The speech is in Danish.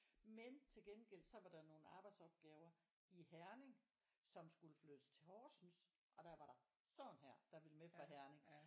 Men tilgengæld så var der nogle arbejdsopgaver i Herning som skulle flyttes til Horsens og der var der sådan her der ville med fra Herning